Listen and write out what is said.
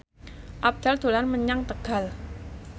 Abdel dolan menyang Tegal